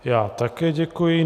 Já také děkuji.